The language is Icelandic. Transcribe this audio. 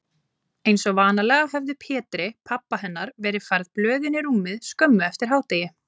Einsog vanalega höfðu Pétri, pabba hennar, verið færð blöðin í rúmið skömmu eftir hádegið.